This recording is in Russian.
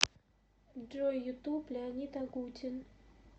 джой ютуб леонид агутин